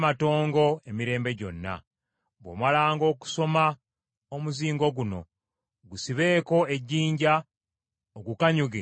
Bw’omalanga okusoma omuzingo guno gusibeeko ejjinja ogukanyuge mu mugga Fulaati.